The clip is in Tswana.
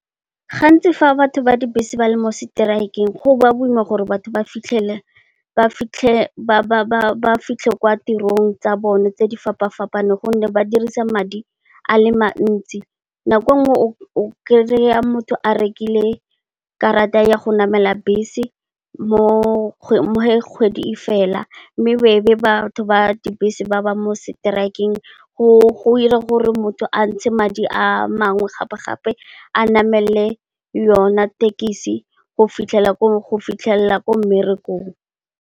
Gantsi fa batho ba dibese ba le mo seteraekeng go ba boima gore batho ba fitlhe kwa tirong tsa bone tse di fapa fapaneng gonne, ba dirisa madi a le mantsi nako nngwe o kry-a motho a rekile karata ya go namela bese mo kgwedi e felang mme, e be batho ba dibese ba ba mo seteraekeng. Go ira gore motho a ntshe madi a mangwe gape, gape a namele yona tekisi go fitlhelela ko mmerekong.